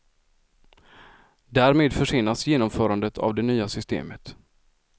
Därmed försenas genomförandet av det nya systemet.